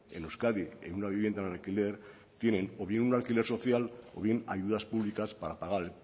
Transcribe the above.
en euskadi en una vivienda en alquiler tienen o bien un alquiler social o bien ayudas públicas para pagar